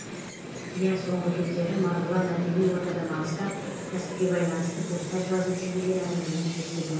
иә соңғы кездері марғұлан әдеби ортадан алыстап кәсіпке байланысты посттар жазып жүр деген әңгімені де естідім